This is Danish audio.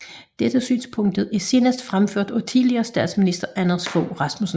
Dette synspunkt er senest fremført af tidligere statsminister Anders Fogh Rasmussen